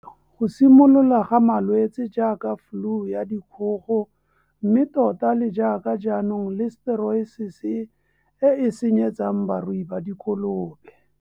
Go simolola ga malwetse jaaka fluu ya dikgogo mme tota le jaaka jaanong liseteriosese e e senyetsang barui ba dikolobe.